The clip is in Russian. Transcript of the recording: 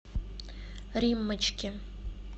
риммочке